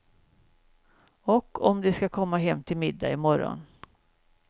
Och om de ska komma hem till middag i morgon.